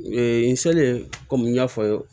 n selen kɔmi n y'a fɔ n ye